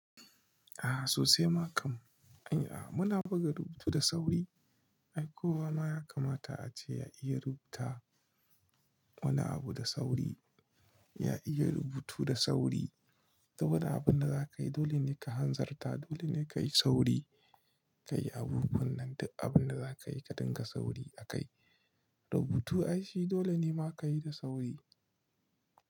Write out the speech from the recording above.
Ah sosai makam, anyi, ah muna buga rubutu da sauri. Ai kowa ma ya kamata ace ya iya rubuta, wani abu da sauri, ya iya rubutu da sauri. Saboda abun da za ka yi dole ne ka hanzarta, dole ne ka yi sauri ka yi abubuwan nan. Duk abun da za ka yi, ka dinga sauri a kai. Rubutu ai shi dole ne ma ka yi da sauri.